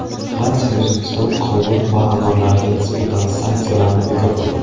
Fransiya O‘zbekiston qovun va anorlariga nisbatan sanksiyalarni bekor qildi.